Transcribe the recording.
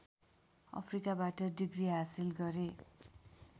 अफ्रिकाबाट degree हासिल गरे